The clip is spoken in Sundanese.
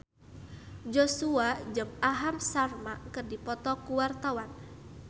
Joshua jeung Aham Sharma keur dipoto ku wartawan